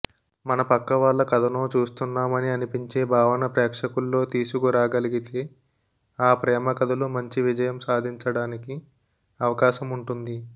మన పక్కవాళ్ల కథనో చూస్తున్నాం అని అనిపించే భావన ప్రేక్షకుల్లో తీసుకురాగలిగితే ఆ ప్రేమకథలు మంచి విజయం సాధించడానికి అవకాశముంటుంది